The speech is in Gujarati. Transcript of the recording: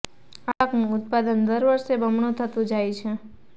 આ પાકનું ઉત્પાદન દર વર્ષે બમણું થતું જાય છે